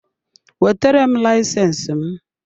Wetere m layisensi m!